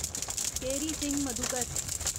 Kehari Singh Madhukar